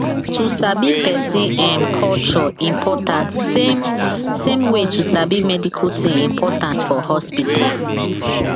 to sabi person um culture important same same way to sabi medical thing important for hospital